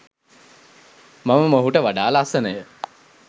මම මොහුට වඩා ලස්සනය